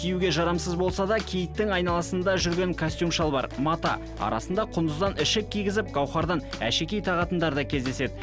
киюге жарамсыз болса да киіттің айналасында жүрген костюм шалбар мата арасында құндыздан ішік кигізіп гаухардан әшекей тағатындар да кездеседі